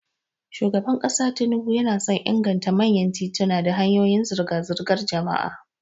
Shugaban kasa Tinubu yana son inganta manyan tituna da hanyoyin zirga-zirgar jama'a.